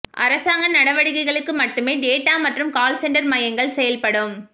அரசாங்க நடவடிக்கைகளுக்கு மட்டுமே டேட்டா மற்றும் கால் சென்டர் மையங்கள் செயல்படும்